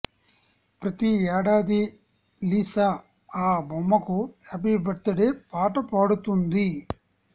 ప్రతి ఏడాది లిసా ఆ బొమ్మకి హ్యాపీ బర్త్ డే పాట పాడుతుంది